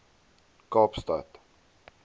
kaapstad